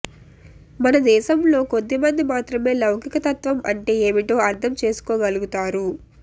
మన దేశంలో కొద్దిమంది మాత్రమే లౌకికతత్వం అంటే ఏమిటో అర్థం చేసుకోగలుగుతారు